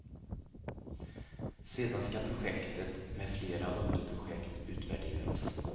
Sedan skall projektet, med flera underprojekt, utvärderas.